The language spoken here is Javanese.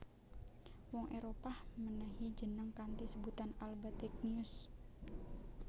Wong Éropah mènèhi jeneng kanthi sebutan AlBategnius